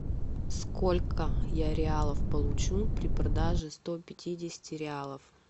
сколько я реалов получу при продаже сто пятидесяти реалов